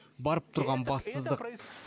барып тұрған бассыздық